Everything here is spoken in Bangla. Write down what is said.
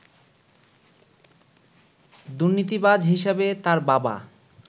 দুর্নীতিবাজ হিসাবে তার বাবা